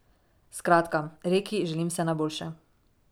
Skratka, Reki želim vse najboljše.